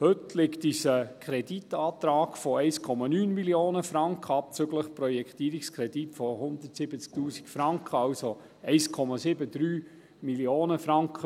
Heute liegt uns ein Kreditantrag von 1,73 Mio. Franken vor: 1,9 Mio. Franken, abzüglich Projektierungskredit von 170’000 Franken.